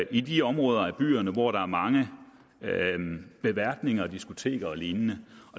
i de områder af byerne hvor der er mange beværtninger diskoteker og lignende